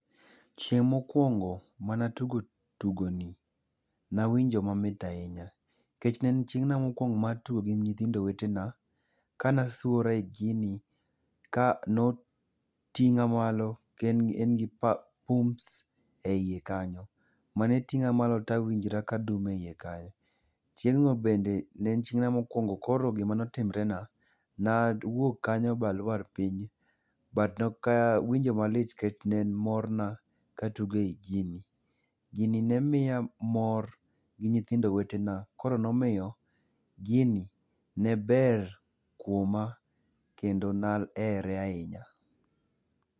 Chieng mokuongo mane atugo tugoni, nawinjo mamit ahinya nikech ne en chiengna mokuongo mar tugo gi nyithind wetena kane asuora e gini kano tinga malo kendo en gi pums iye kanyo manetinga malo tawinjra ka adum e iye kanyo. Chieng no bende ne en odiochienga mokuongo, koro gimane otimre na, nawuok kanyo baluor piny but nok awinjo malit nikech ne en morna katugo ei gini. Gini nemiya mor gi nyithindo wetena koro nomiyo gini ne ber kuoma kendo nahere ahinya